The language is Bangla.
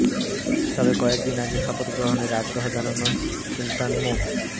তবে কয়েক দিন আগে শপথ গ্রহণের আগ্রহ জানানো সুলতান মো